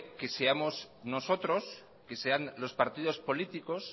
que seamos nosotros que sean los partidos políticos